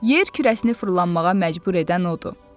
Yer kürəsini fırlanmağa məcbur edən odur.